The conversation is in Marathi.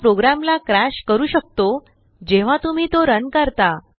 तो प्रोग्रामलाcrashकरू शकतो जेव्हा तुम्ही तो रन करता